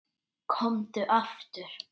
Komdu aftur.